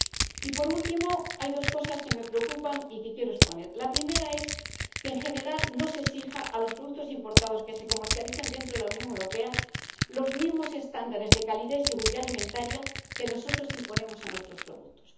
Y por último, hay dos cosas que me preocupan y que quiero exponer la primera es que, en general, no se exija a los productos importados que se comercializan dentro de la Unión Europea los mismos estándares de calidad y seguridad alimentaria que nosotros imponemos a nuestros productos.